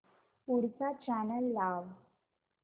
पुढचा चॅनल लाव